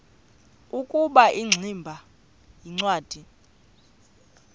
ukuba ingximba yincwadi